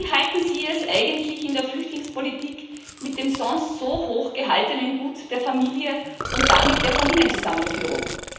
Wie halten Sie es eigentlich in der Flüchtlingspolitik mit dem sonst so hochgehaltenen Gut der Familie und damit der Familienzusammenführung?